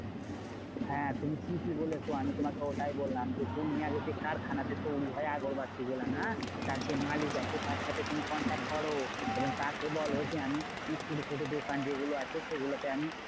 হ্যাঁ তুমি ঠিকই বলেছো আমি তোমাকে ওটাই বললাম যে, তুমি আগে যে কারখানাতে তৈরী হয় আগরবাতি গুলা না? তার যে মালিক আছে তার সাথে তুমি contact করো। এবং তাকে বোলো যে আমি ছোট ছোট দোকান যেগুলো আছে সেগুলোতে আমি